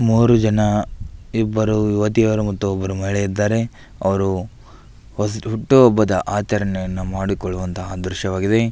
ಮೂರು ಜನ ಇಬ್ಬರು ಯುವತಿಯರು ಮತ್ತು ಒಬ್ಬರು ಮಹಿಳೆ ಇದ್ದಾರೆ ಅವರು ಹೊಸಿ ಹುಟ್ಟುಹಬ್ಬದ ಆಚರಣೆಯನ್ನು ಮಾಡಿಕೊಳ್ಳುವಂತಹ ದೃಶ್ಯವಾಗಿದೆ.